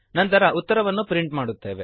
ನಂತರ ಉತ್ತರವನ್ನು ಪ್ರಿಂಟ್ ಮಾಡುತ್ತೇವೆ